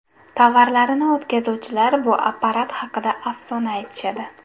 Tovarlarini o‘tkazuvchilar bu apparat haqida afsona aytishadi.